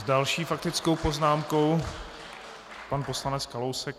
S další faktickou poznámkou pan poslanec Kalousek.